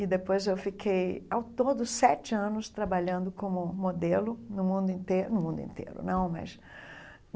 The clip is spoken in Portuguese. E depois eu fiquei, ao todo, sete anos trabalhando como modelo no mundo inteiro no mundo inteiro não mas.